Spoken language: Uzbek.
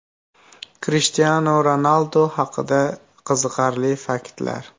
Krishtianu Ronaldu haqida qiziqarli faktlar.